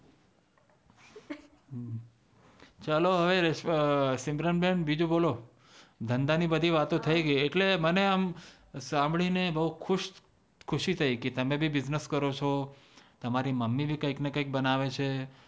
ચાલો હવે સિમરન બેન બીજું બોલો ધંધા ની બધી વાતું થી ગઈ એટલે મને આમ સાંભળીને બોવ ખુશ ખુશી થઇ તમે બિઝનસ કરો ચો તમારી મમી ભી કૈક ને કૈક બનાવે છે